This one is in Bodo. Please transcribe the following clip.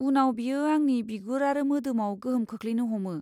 उनाव बियो आंनि बिगुर आरो मोदोमाव गोहोम खोख्लैनो हमो।